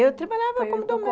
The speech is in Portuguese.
Eu trabalhava como doméstica.